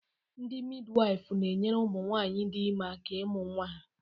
Ndị midiwaifu na-enyere ụmụnwaanyị dị ime aka ịmụ nnwa ha.